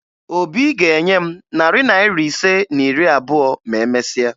Obi ga-enye m narị naịra ise na iri abụọ ma e mesia